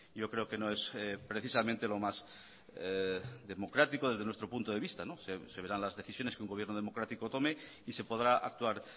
yo creo que no es precisamente lo más democrático desde nuestro punto de vista se verán las decisiones que un gobierno democrático tome y se podrá actuar